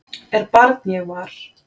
er barn ég var